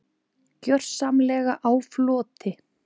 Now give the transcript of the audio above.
Gjörsamlega á floti.